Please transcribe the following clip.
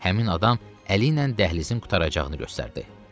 Həmin adam əli ilə dəhlizin qurtaracağını göstərdi.